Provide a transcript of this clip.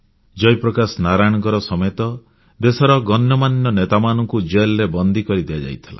ଜୟପ୍ରକାଶ ନାରାୟଣଙ୍କ ସମେତ ଦେଶର ଗଣ୍ୟମାନ୍ୟ ନେତାମାନଙ୍କୁ ଜେଲ୍ ରେ ବନ୍ଦୀ କରି ଦିଆଯାଇଥିଲା